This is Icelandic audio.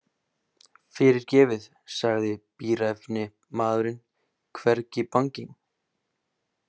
Fyrirgefið, sagði bíræfni maðurinn hvergi banginn.